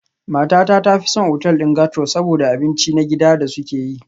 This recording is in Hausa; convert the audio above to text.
Matata ta fi son otal ɗin gastro saboda abinci na gida da suke yi.